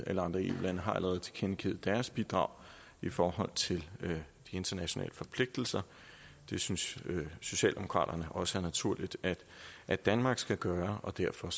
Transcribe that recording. alle andre eu lande allerede tilkendegivet deres bidrag i forhold til internationale forpligtelser det synes socialdemokraterne også er naturligt at danmark skal gøre og derfor